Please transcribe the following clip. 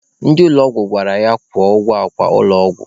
Ndị ụlọ ọgwụ gwara ya kwụọ ụgwọ akwa ụlọ ọgwụ.